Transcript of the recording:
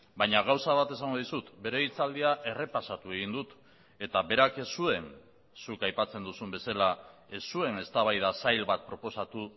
baina gauza bat esango dizut bere hitzaldia errepasatu egin dut eta berak ez zuen zuk aipatzen duzun bezala ez zuen eztabaida zail bat proposatu